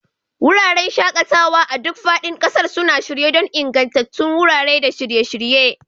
Wuraren shaƙatawa a duk faɗin ƙasar suna shirye don ingantattun wurare da shirye-shirye.